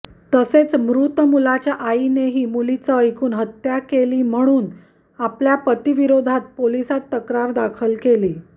तसेच मृत मुलाच्या आईनेही मुलीचं ऐकून हत्या केली म्हणून आपल्या पतीविरोधात पोलिसात तक्रार दाखल केली